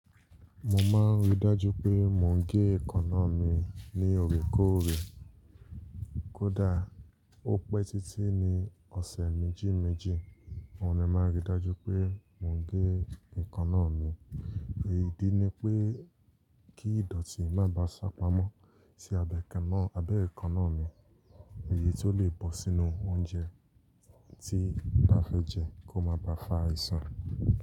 Mo máa n rí dájú pé mo gẹ èékánná mi ní òrèkore, kódà ó pé títí ní ọ̀sẹ̀ méjì méjì, mo máa n rí dájú pé mo gẹ èékánná mi idí ni pé kí ìdọ̀tí má bá ṣàpamọ́ sí abẹ́ èékánná mi, èyí tó lè bọ́ sínú óúnjẹ tí n bá fẹ́ jẹ kí ó má bá fá áisan.